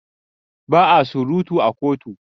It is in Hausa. Ba a surutu a kotu.